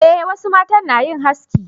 eh wasu matan na yin haski